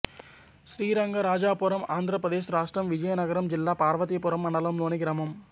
శ్రీరంగరాజపురం ఆంధ్ర ప్రదేశ్ రాష్ట్రం విజయనగరం జిల్లా పార్వతీపురం మండలంలోని గ్రామం